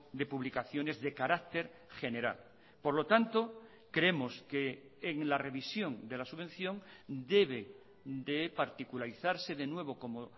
de publicaciones de carácter general por lo tanto creemos que en la revisión de la subvención debe de particularizarse de nuevo como